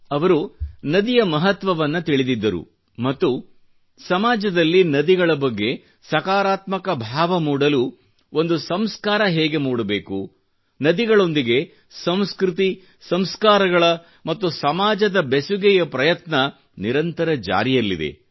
ಅವರು ನದಿಯ ಮಹತ್ವವನ್ನು ತಿಳಿದಿದ್ದರು ಮತ್ತು ಸಮಾಜದಲ್ಲ್ಕಿ ನದಿಗಳ ಬಗ್ಗೆ ಸಕಾರಾತ್ಮಕ ಭಾವ ಮೂಡಲು ಒಂದು ಸಂಸ್ಕಾರ ಹೇಗೆ ಮೂಡಬೇಕು ನದಿಗಳೊಂದಿಗೆ ಸಂಸ್ಕøತಿ ಸಂಸ್ಕಾರಗಳ ಮತ್ತು ಸಮಾಜದ ಬೆಸುಗೆಯ ಪ್ರಯತ್ನ ನಿರಂತರ ಜಾರಿಯಲ್ಲಿದೆ